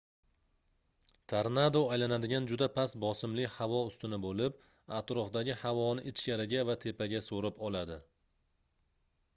tornado aylanadigan juda past bosimli havo ustuni boʻlib atrofdagi havoni ichkariga va tepaga soʻrib oladi